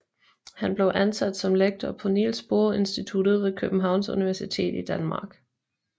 Han blev ansat som lektor på Niels Bohr Instituttet ved Københavns Universitet i Danmark